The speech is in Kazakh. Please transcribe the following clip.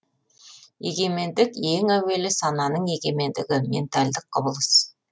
егемендік ең әуелі сананың егемендігі ментальдік құбылыс